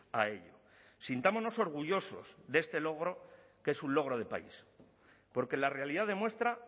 a ello sintámonos orgullosos de este logro que es un logro de país porque la realidad demuestra